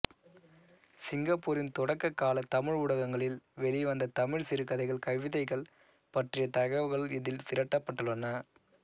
சிங்கப்பூரின் தொடக்க கால தமிழ் ஊடகங்களில் வெளி வந்த தமிழ் சிறுகதைகள் கவிதைகள் பற்றிய தகவல்கள் இதில் திரட்டப்பட்டுள்ளன